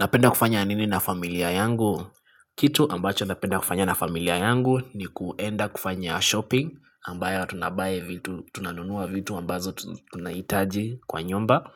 Napenda kufanya nini na familia yangu? Kitu ambacho napenda kufanya na familia yangu ni kuenda kufanya shopping ambayo tunabuy vitu, tunanunua vitu ambazo tunaitaji kwa nyumba.